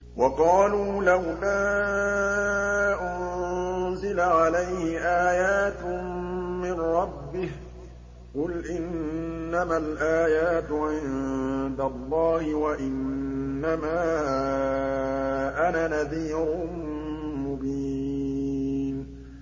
وَقَالُوا لَوْلَا أُنزِلَ عَلَيْهِ آيَاتٌ مِّن رَّبِّهِ ۖ قُلْ إِنَّمَا الْآيَاتُ عِندَ اللَّهِ وَإِنَّمَا أَنَا نَذِيرٌ مُّبِينٌ